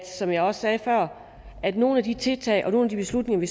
som jeg også sagde før at nogle af de tiltag og nogle af de beslutninger vi